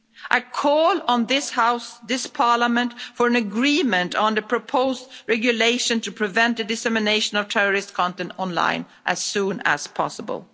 I call on this House, this Parliament, for an agreement on the proposed regulation to prevent the dissemination of terrorist content online as soon as possible.